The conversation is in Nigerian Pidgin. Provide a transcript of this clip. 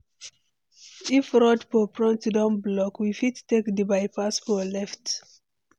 If road for front don block, we fit take di bypass for left.